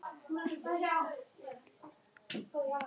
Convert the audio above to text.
Gulli, stilltu niðurteljara á þrjátíu mínútur.